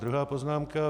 Druhá poznámka.